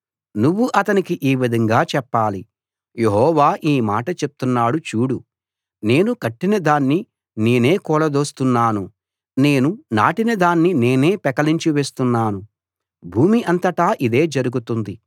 నువ్వు అతనికి ఈ విధంగా చెప్పాలి యెహోవా ఈ మాట చెప్తున్నాడు చూడు నేను కట్టిన దాన్ని నేనే కూలదోస్తున్నాను నేను నాటిన దాన్ని నేనే పెకలించి వేస్తున్నాను భూమి అంతటా ఇదే జరుగుతుంది